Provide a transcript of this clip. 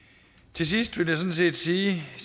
til sidst vil jeg sådan set sige